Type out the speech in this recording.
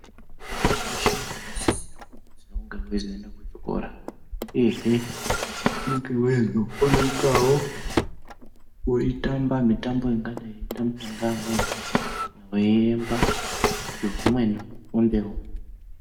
Hwana weshe unosisirwe kunge eiende kuchikora uyehe hweizokone itawo hweitamba Mitambo ingadai yeitambwa ngeamweni hweiemba kuti humweni hufundewo.